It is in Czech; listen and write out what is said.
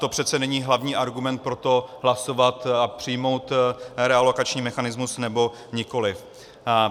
To přece není hlavní argument pro to hlasovat a přijmout relokační mechanismus, nebo nikoliv.